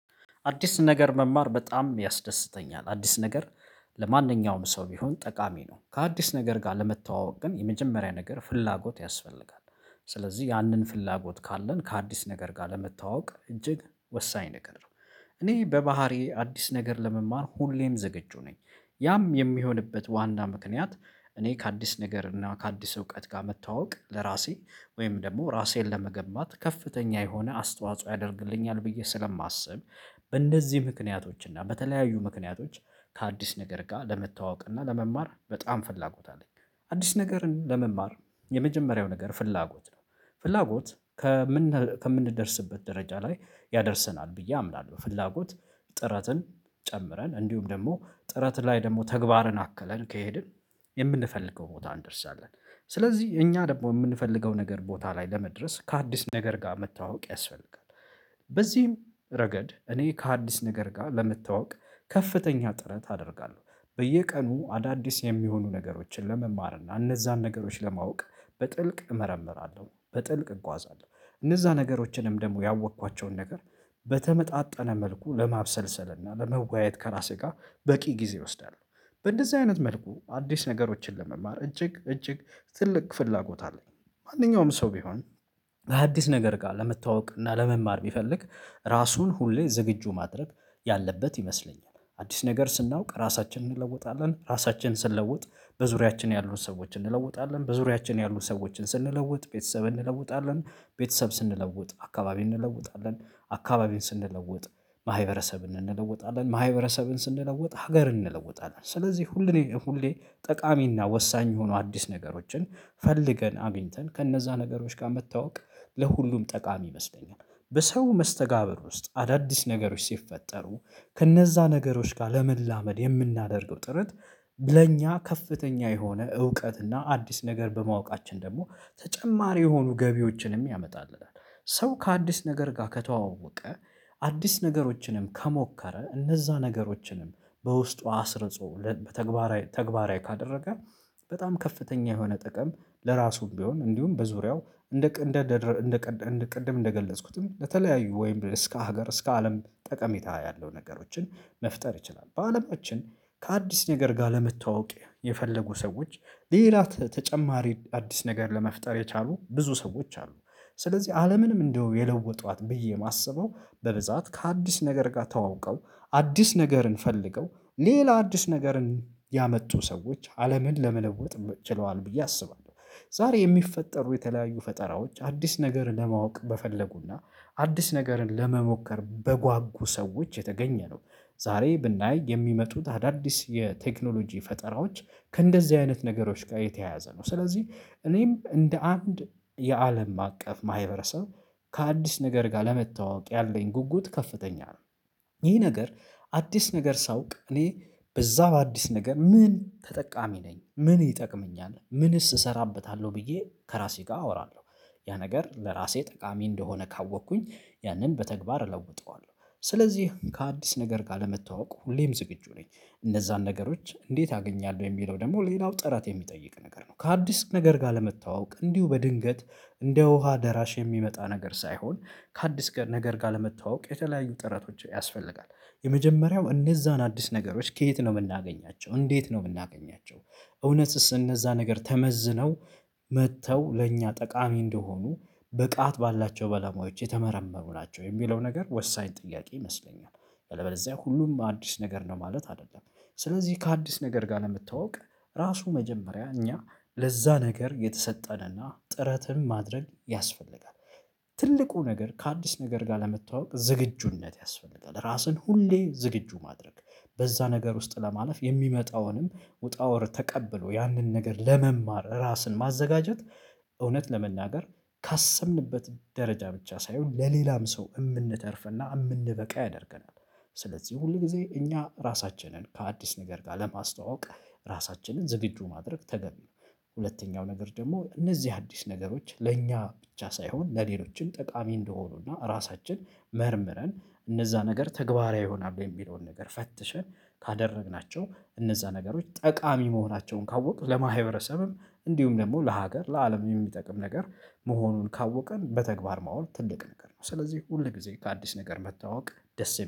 አዲስ ነገር መማር በጣም ያስደስተኛል አዲስ ነገር ለማንኛውም ሰው ቢሆን ጠቃሚ ነው። ከአዲስ ነገር ጋር ለመተዋወቅ ግን የመጀመሪያ ነገር ፍላጎት ያስፈልጋል። ስለዚህ ያንን ፍላጎት ካለን ከአዲስ ነገር ጋር ለመተዋወቅ እጅግ ወሳኝ ነገር ነው። እኔ በባህሪዬ አዲስ ነገር ለመማር ሁሌም ዝግጁ ነኝ። ያም የሚሆንበት ዋና ምክንያት እኔ ከአዲስ ነገር እና ከአዲስ እውቀት ጋር መተዋወቅ ለራሴ ወይም ደግሞ ራሴን ለመገማት ከፍተኛ የሆነ አስተዋጽኦ ያደርግልኛል ብዬ ስለማስብ። በእንደዚህ ምክንያቶች እና በተለያዩ ምክንያቶች ከአዲስ ነገር ጋር ለመተዋወቅ እና ለመማር በጣም ፍላጎት አለኝ። አዲስ ነገርን ለመማር የመጀመሪያው ነገር ፍላጎት ነው። ፍላጎት ከምንደርስበት ደረጃ ላይ ያደርሰናል ብዬ አምናለሁ። በፍላጎት ጥረትን ጨምረን እንዲሁም ደግሞ ጥረት ላይ ደግሞ ተግባርን አከለን ከሄድን የምንፈልገው ቦታ እንደርሳለን። ስለዚህ እኛ ደግሞ የምንፈልገው ነገር ቦታ ላይ ለመድረስ ከአዲስ ነገር ጋር መተዋወቅ ያስፈልጋል። በዚህም ረገድ እኔ ከአዲስ ነገር ጋር ለመተዋወቅ ከፍተኛ ጥረት አደርጋለሁ። በየቀኑ አዳዲስ የሚሆኑ ነገሮችን ለመማር እና እነዛን ነገሮች ለማወቅ በጥልቅ እመረምራለሁ በጥልቅ እጓዛለሁ እነዛም ነገሮችንም ደግሞ ያወቅኳቸውን ነገር። በተመጣጠነ መልኩ ለማብሰልሰልና ለመወያየት ከራሴ ጋር በቂ ጊዜ ይወስዳሉ። በእንደዚህ አይነት መልኩ አዲስ ነገሮችን ለመማር እጅግ እጅግ ትልቅ ፍላጎት አለኝ። ማንኛውም ሰው ቢሆን በሐዲስ ነገር ጋር ለመተዋወቅ እና ለመማር ቢፈልግ ራሱን ሁሌ ዝግጁ ማድረግ ያለበት ይመስለኛል። አዲስ ነገር ስናውቅ ራሳችንን እንለወጣለን ራሳችንን ስንለውጥ በዙሪያችን ያሉት ሰዎችን እንለውጣለን በዙሪያችን ያሉት ሰዎችን ስንለውጥ ቤተሰብ እንለውጣለን። ቤተሰብ ስንለውጥ አካባቢ እንለውጣለን። አካባቢን ስንለውጥ ማህበረሰብን እንለውጣለን ማህበረሰብን ስንለውጥ ሀገር እንለውጣለን። ስለዚህ ሁሌ ሁሌ ጠቃሚና ወሳኝ የሆኑ አዲስ ነገሮችን ፈልገን አግኝተን ከነዛ ነገሮች ጋር መታወቅ ለሁሉም ጠቃሚ ይመስለኛል። በሰው መስተጋብር ውስጥ አዳዲስ ነገሮች ሲፈጠሩ ከእነዛ ነገሮች ጋር ለመላመድ የምናደርገው ጥረት ለእኛ ከፍተኛ የሆነ እውቀት እና አዲስ ነገር በማወቃችን ደግሞ ተጨማሪ የሆኑ ገቢዎችንም ያመጣልናል። ሰው ከአዲስ ነገር ጋር ከተዋወቀ አዲስ ነገሮችንም ከሞከረ እነዛ ነገሮችንም በውስጡ አስርጾ በተግባራዊ ተግባራዊ ካደረገ በጣም ከፍተኛ የሆነ ጥቅም ለራሱም ቢሆን እንዲሁም በዙሪያው እንደ እንደ እንደ ቅድም እንደገለጽኩትም ለተለያዩ ወይም እስከ ሀገር እስከ አለም ጠቀሜታ ያለው ነገሮችን መፍጠር ይችላል። በአለማችን ከአዲስ ነገር ጋር ለመተዋወቅ የፈለጉ ሰዎች ሌላ ተጨማሪ አዲስ ነገር ለመፍጠር የቻሉ ብዙ ሰዎች አሉ። ስለዚህ አለምንም እንደው የለወጧት ብዬ የማስበው በብዛት ከአዲስ ነገር ጋር ተዋውቀው አዲስ ነገርን ፈልገው ሌላ አዲስ ነገርን ያመጡ ሰዎች አለምን ለመለወጥ ችለዋል ብዬ አስባለሁ። ዛሬ የሚፈጠሩ የተለያዩ ፈጠራዎች አዲስ ነገርን ለማወቅ በፈለጉና አዲስ ነገርን ለመሞከር በጓጉ ሰዎች የተገኘ ነው። ዛሬ ብናይ የሚመጡት አዳዲስ የቴክኖሎጂ ፈጠራዎች ከእንደዚህ አይነት ነገሮች ጋር የተያያዘ ነው። ስለዚህ እኔም እንደ አንድ የአለም አቀፍ ማህበረሰብ ከአዲስ ነገር ጋር ለመተዋወቅ ያለኝ ጉጉት ከፍተኛ ነው። ይህ ነገር አዲስ ነገር ሳውቅ እኔ በዛው አዲስ ነገር ምን ተጠቃሚ ነኝ ምን ይጠቅመኛል ምንስ እሰራበታለሁ ብዬ ከራሴ ጋር አወራለሁ። ያ ነገር ለራሴ ጠቃሚ እንደሆነ ካወቅኩኝ ያንን በተግባር እለውጠዋለሁ። ስለዚህ ከአዲስ ነገር ጋር ለመተዋወቅ ሁሌም ዝግጁ ነኝ። እነዛን ነገሮች እንዴት አገኛለሁ የሚለው ደግሞ ሌላው ጥራት የሚጠይቅ ነገር ነው። ከሀዲስ ነገር ጋር ለመተዋወቅ እንዲሁ በድንገት እንደ ውሃ ደራሽ የሚመጣ ነገር ሳይሆን ከሀዲስ ነገር ጋር ለመተዋወቅ የተለያዩ ጥረቶች ያስፈልጋል። የመጀመሪያው እነዛን አዲስ ነገሮች ከየት ነው የምናገኛቸው እንዴት ነው የምናገኛቸው? እውነትስ እነዛ ነገር ተመዝነው መጥተው ለእኛ ጠቃሚ እንደሆኑ ብቃት ባላቸው ባለሙያዎች የተመረመሩ ናቸው የሚለው ነገር ወሳኝ ጥያቄ ይመስለኛል። ያለበለዚያ ሁሉም አዲስ ነገር ነው ማለት አይደለም። ስለዚህ ከአዲስ ነገር ጋር ለመተዋወቅ ራሱ መጀመሪያ እኛ ለዛ ነገር የተሰጠንና ጥረትን ማድረግ ያስፈልጋል። ትልቁ ነገር ከአዲስ ነገር ጋር ለመታወቅ ዝግጁነት ያስፈልጋል። ራስን ሁሌ ዝግጁ ማድረግ በዛ ነገር ውስጥ ለማለፍ የሚመጣውንም ውጣ ውረድ ተቀብሎ ያንን ነገር ለመማር ራስን ማዘጋጀት። እውነት ለመናገር ካሰብንበት ደረጃ ብቻ ሳይሆን ለሌላም ሰው የምንተርፍና የምንበቃ ያደርገናል። ስለዚህ ሁል ጊዜ እኛ ራሳችንን ከአዲስ ነገር ጋር ለማስተዋወቅ ራሳችንን ዝግጁ ማድረግ ተገቢ ነው። ሁለተኛው ነገር ደግሞ እነዚህ አዲስ ነገሮች ለእኛ ብቻ ሳይሆን ለሌሎችም ጠቃሚ እንደሆኑና ራሳችን መርምረን እነዛ ነገር ተግባራዊ ይሆናሉ የሚለውን ነገር ፈትሸን ካደረግናቸው እነዛ ነገሮች ጠቃሚ መሆናቸውን ካወቅን ለማህበረሰብም እንዲሁም ደግሞ ለሀገር ለአለም የሚጠቅም ነገር መሆኑን ካወቅን በተግባር ማዋል ትልቅ ነገር ነው። ስለዚህ ሁል ጊዜ ከአዲስ ነገር መታወቅ ደስ